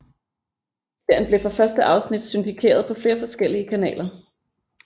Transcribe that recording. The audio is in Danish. Serien blev fra første afsnit syndikeret på flere forskellige kanaler